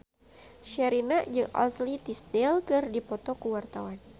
Sherina jeung Ashley Tisdale keur dipoto ku wartawan